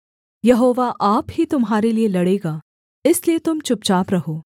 यहोवा आप ही तुम्हारे लिये लड़ेगा इसलिए तुम चुपचाप रहो